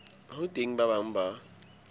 ho teng ba bang ba